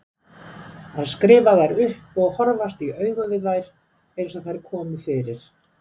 Að skrifa þær upp og horfast í augu við þær eins og þær komu fyrir.